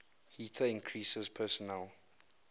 heater increases personal